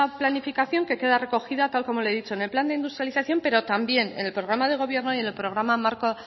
planificación que queda recogida tal y como le he dicho en el plan de industrialización pero también en el programa del gobierno y en el programa marco